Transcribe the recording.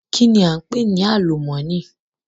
Kìíní a ń pè ní àlùmọ́nì?